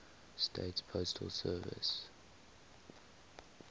states postal service